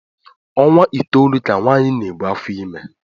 Ọnwa itoolu ka nwaanyị na-ebu afọ ime